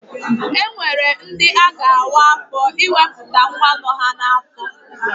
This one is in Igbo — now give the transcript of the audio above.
E nwere ndi a ga-awa afọ ịwepụta nwa nọ ha n'afọ.